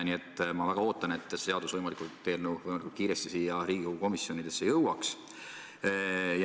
Nii et ma väga ootan, et see eelnõu võimalikult kiiresti Riigikogu komisjonidesse jõuaks.